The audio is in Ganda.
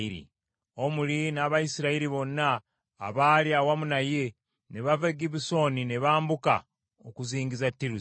Omuli n’Abayisirayiri bonna abaali awamu naye ne bava e Gibbesoni ne bambuka okuzingiza Tiruza.